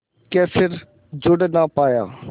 के फिर जुड़ ना पाया